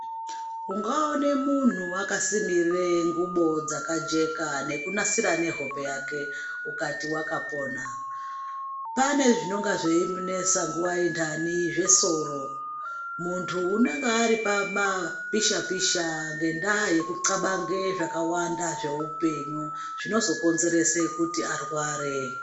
Ungaone munhu akasimire ngubo dzakajeka nekunasirw nehope yake ukati wakapona pane zvinenga zveimunesa nguwa yentani zvesoro muntu unenga ari pama pisha pisha ngendaa yeku tlabange zvakawanda zveupenyu zvinozokonzeresa kuti arware.